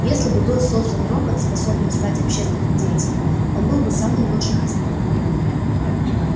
если бы был создан робот способный стать общественным деятелем он был бы самым лучшим из них